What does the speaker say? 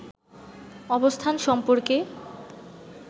অবস্থান সম্পর্কে